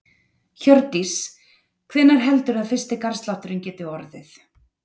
Hjördís: Hvenær heldurðu að fyrsti garðslátturinn geti orðið?